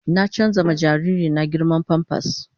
Na canza ma jariri na girman "pampers "